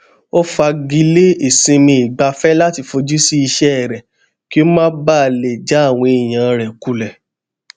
ó fagilé isinmiìgbafẹ lati fojú sí iṣẹ rẹ kí ó má baà lè já àwọn èèyàn rẹ kulẹ